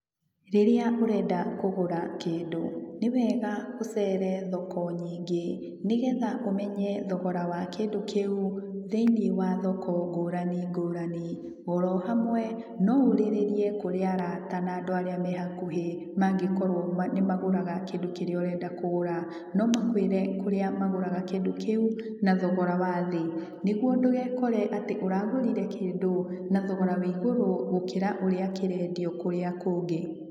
Rĩrĩa ũrenda kũgũra kĩndũ, nĩwega ũcere thoko nyingĩ, nĩgetha ũmenye thogora wa kĩndũ kĩu, thĩiniĩ wa thoko ngũrani ngũrani. Oro hamwe, no ũrĩrĩrie kũrĩ arata na andũ arĩa me hakuhĩ, mangĩkorũo nĩmagũraga kĩndũ kĩrĩa ũrenda kũgũra. No makũĩre kũndũ kũrĩa magũraga kĩndũ kĩu, na thogora wa thĩ, nĩguo ndũgekore atĩ ũragũrire kĩndũ na thogora wa igũrũ gũkĩra ũrĩa kĩrendio kũndũ kũrĩa kũngĩ.